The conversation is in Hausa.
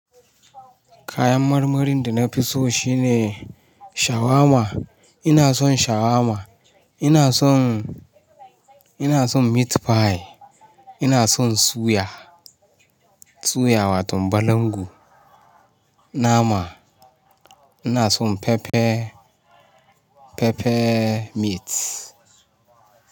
Kayan marmarin da na fi so shine shawarma. Ina son shawarma, ina son, ina son meat pie, ina son suya, suya watan balangu, nama, ina son pepper pepper meat.